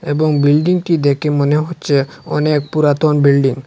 এবং বিল্ডিংটি দেখে মনে হচ্ছে অনেক পুরাতন বিল্ডিং ।